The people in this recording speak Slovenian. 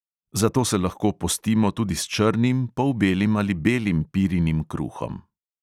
Zato se lahko postimo tudi s črnim, polbelim ali belim pirinim kruhom.